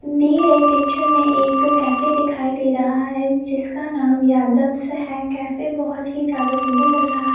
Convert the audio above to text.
दी गई पिक्चर में एक कैफे दिखाई दे रहा है जिसका नाम यादव्स है कैफे बहुत ही ज्यादा सुन्दर लग रहा।